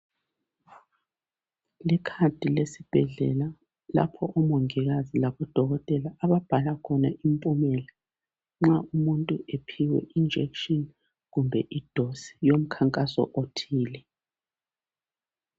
Ikhadi lesibhedlela lapho omongikazi labodokotela ababhala khona impumela nxa umuntu ephiwe injection kumbe idosi yomkhankaso othile